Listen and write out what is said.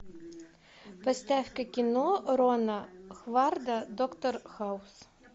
поставь ка кино рона хварда доктор хаус